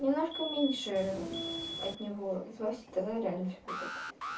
немножко меньше от него злости и тогда реально всё будет хорошо